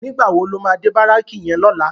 Nigbá wó ló má dé báráki yèn lòlá?